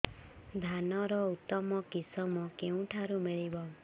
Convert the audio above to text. ଧାନର ଉତ୍ତମ କିଶମ କେଉଁଠାରୁ ମିଳିବ